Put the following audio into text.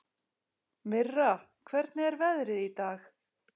Mirra, hvernig er veðrið í dag?